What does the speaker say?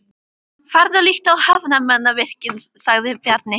Farðu og líttu á hafnarmannvirkin, sagði Bjarni.